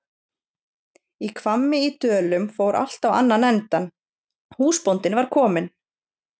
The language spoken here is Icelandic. Í Hvammi í Dölum fór allt á annan endann, húsbóndinn var kominn!